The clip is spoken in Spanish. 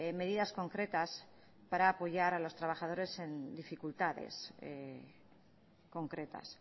medidas concretas para apoyar a los trabajadores en dificultades concretas